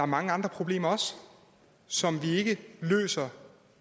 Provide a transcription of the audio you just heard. mange andre problemer som vi ikke løser